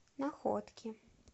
находки